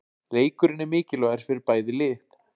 Leikurinn er mikilvægur fyrir bæði lið.